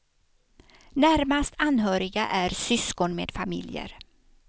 Närmast anhöriga är syskon med familjer.